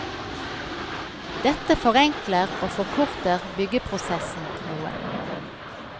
Dette forenkler og forkorter byggeprosessen noe.